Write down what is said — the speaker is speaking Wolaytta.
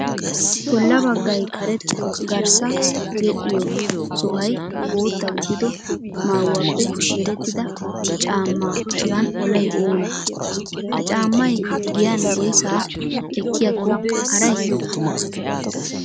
Bolla baggayi karetta garssa yedhdhiyoo sohayi bootta gidido maayyuwaappe merettida caamma hagan olayi oonee? Ha caammayi giyan woyisaa ekkiyaakko arayii?